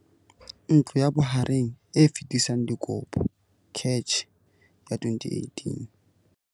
Ntlo ya Bohareng e Fetisang Dikopo, CACH, ya 2018.